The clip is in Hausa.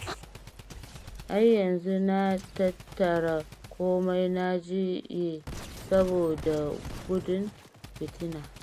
Ai yanzu na tattara komai na jiye saboda gudun fitina